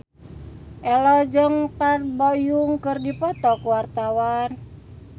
Ello jeung Park Bo Yung keur dipoto ku wartawan